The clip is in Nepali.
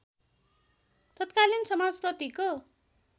तत्कालीन समाजप्रतिको